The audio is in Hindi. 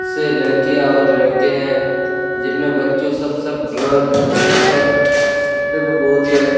से लड़कियां और लड़के हैं जिनमें बच्चों सब-सब ड्रंक कर रहे हैं दिखने में बहुत ही अच् --